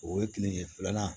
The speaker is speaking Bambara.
O ye kile de filanan